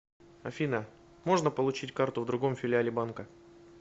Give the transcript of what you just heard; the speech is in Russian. афина можно получить карту в другом филиале банка